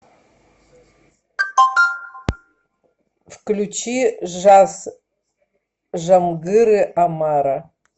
включи жаз жамгыры омара